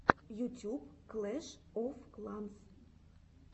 ютюб клэш оф кланс